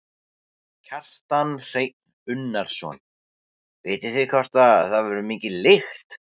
Kjartan Hreinn Unnarsson: Vitið þið hvort að það verður mikil lykt?